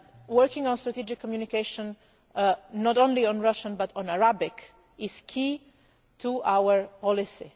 Russia. Working on strategic communication, not only on Russian but on Arabic, is key to our